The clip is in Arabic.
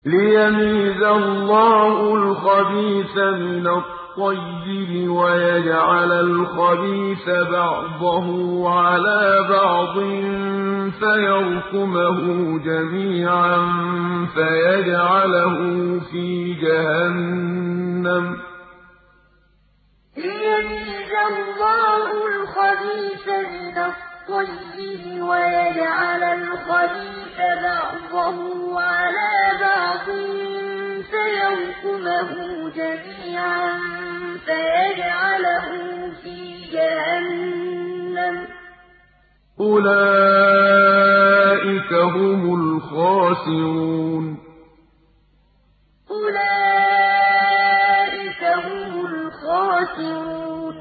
لِيَمِيزَ اللَّهُ الْخَبِيثَ مِنَ الطَّيِّبِ وَيَجْعَلَ الْخَبِيثَ بَعْضَهُ عَلَىٰ بَعْضٍ فَيَرْكُمَهُ جَمِيعًا فَيَجْعَلَهُ فِي جَهَنَّمَ ۚ أُولَٰئِكَ هُمُ الْخَاسِرُونَ لِيَمِيزَ اللَّهُ الْخَبِيثَ مِنَ الطَّيِّبِ وَيَجْعَلَ الْخَبِيثَ بَعْضَهُ عَلَىٰ بَعْضٍ فَيَرْكُمَهُ جَمِيعًا فَيَجْعَلَهُ فِي جَهَنَّمَ ۚ أُولَٰئِكَ هُمُ الْخَاسِرُونَ